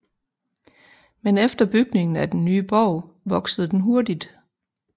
Men efter bygningen af den nye borg voksede den hurtigt